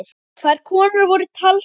Tvær konur voru taldar upp.